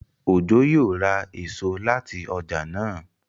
Ojo yíò rá èso láti ọjà náa.